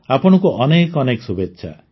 ଆପଣଙ୍କୁ ଅନେକ ଅନେକ ଶୁଭେଚ୍ଛା